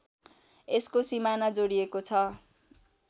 यसको सिमाना जोडिएको छ